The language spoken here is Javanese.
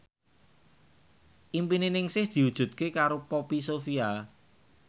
impine Ningsih diwujudke karo Poppy Sovia